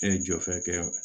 Ne ye jɔfɛ kɛ